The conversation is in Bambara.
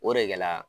O de kɛla